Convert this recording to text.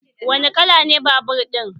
Wani kala ne babur ɗin?